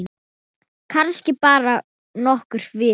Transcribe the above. Kannski bara nokkrar vikur.